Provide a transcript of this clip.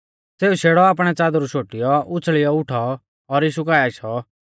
सेऊ शेड़ौ आपणै च़ादरु शोटियौ उछ़ल़ियौ उठौ और यीशु काऐ आशौ